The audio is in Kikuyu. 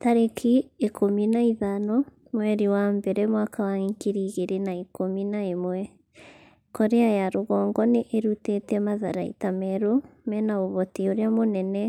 tarĩki ikũmi na ithano mweri wa mbere mwaka wa ngiri igĩrĩ na ikũmi na ĩmwe Korea ya rũgongo nĩ ĩrutĩte matharaita merũ mena ũhoti ũrĩa mũnene